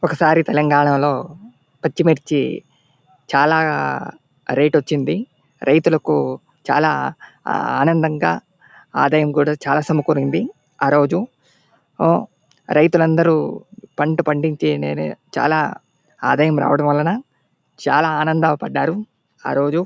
ఒకసారి తెలంగాణాలో పచ్చిమిర్చి చాలా రేట్ వచ్చింది రైతులకు చాలా ఆనందంగా ఆదాయం కూడా చాలా సమకూరింది ఆరోజు రైతులందరూ పంట పండించి చాలా ఆదాయం రావడం వలన చాలా ఆనందం పడ్డారు ఆరోజు .